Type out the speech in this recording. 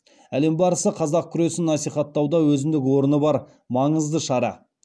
әлем барысы қазақ күресін насихаттауда өзіндік орны бар маңызды шара